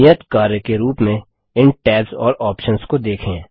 नियत कार्य के रूप में इन टैब्स और ऑप्शंस को देखें